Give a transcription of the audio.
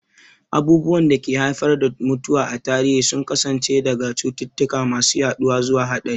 Abubuwan da ke haifar da mutuwa a tarihi sun kasance daga cututtuka masu yaduwa zuwa haɗari.